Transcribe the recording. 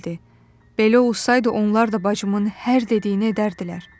Belə olsaydı onlar da bacımın hər dediyini edərdilər.